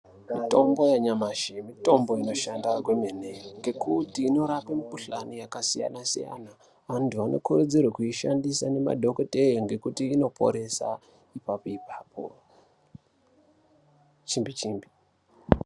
Mitombo yanyamashi Mitombo inoshanda kwemene ngekuti inorape mikhuhlani yakasiyana siyana. Antu anokurudzirwe kuishandisa ngemadhokodheya ngekuti inoporesa ipapo ipapo ,chimbi chimbi.